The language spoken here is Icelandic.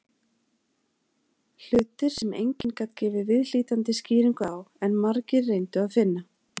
Hlutir sem enginn gat gefið viðhlítandi skýringu á, en margir reyndu að finna.